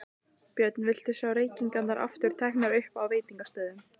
Björn: Viltu sjá reykingar aftur teknar upp á veitingastöðum?